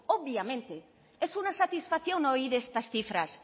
obviamente es una satisfacción oír estas cifras